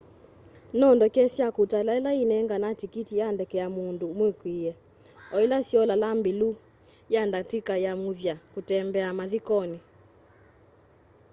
no ndeke sya kutala ila inenganae tikiti ya ndeke ya mundu mukwiie oila siolaa mbilu ya ndatika ya muthya kutembea mathikoni